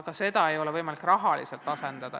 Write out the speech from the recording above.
Seda ei ole võimalik rahaliselt asendada.